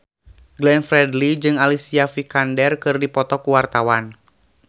Glenn Fredly jeung Alicia Vikander keur dipoto ku wartawan